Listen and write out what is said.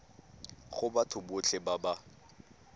go batho botlhe ba ba